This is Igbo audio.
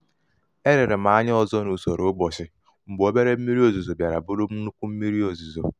e lere m anya ọzọ n'usoro ụbọchị mgbe obere mmiri ozuzo bịara bụrụ nnukwu mmírí ozuzo.